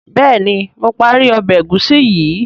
béèni mo parí Ọbẹ̀ egusi yi.